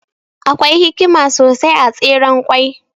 Akwai hikima sosai a Tseren ƙwai.